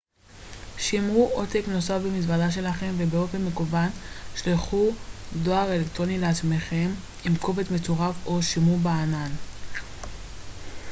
"שמרו עותק נוסף במזוודה שלכם ובאופן מקוון שלחו דואר אלקטרוני לעצמכם עם קובץ מצורף או שמרו ב""ענן"".